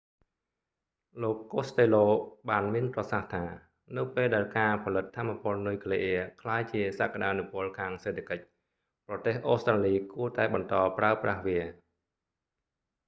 លោក costello បានមានប្រសាសន៍ថា នៅពេលដែលការផលិតថាមពលនុយក្លេអ៊ែរក្លាយជាសក្ដានុពលខាងសេដ្ឋកិច្ច ប្រទេស អូស្ត្រាលីគួរតែបន្តប្រើប្រាស់វា